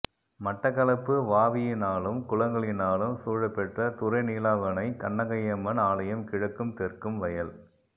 மட்டக்களப்பு வாவியினாலும் குளங்களினாலும் சூழப்பெற்ற துறைநீலாவணை கண்ணகையம்மன் ஆலயம் கிழக்கும் தெற்கும் வயல்